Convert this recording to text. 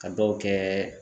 Ka dɔw kɛɛ